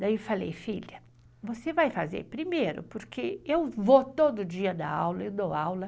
Daí eu falei, filha, você vai fazer primeiro, porque eu vou todo dia dar aula, eu dou aula.